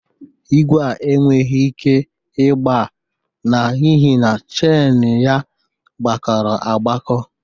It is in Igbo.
Igwe a enweghi ike ịgba n'ihi na cheini ya kpakọrọ agbakọ.